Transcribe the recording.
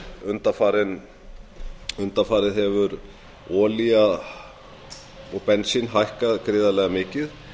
er að undanfarið hefur olía og bensín hækkað gríðarlega mikið